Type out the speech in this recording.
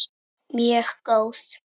Mjög góð.